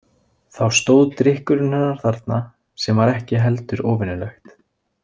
Þá stóð drykkurinn hennar þarna sem var ekki heldur óvenjulegt.